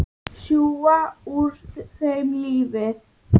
Sjúga úr þeim lífið.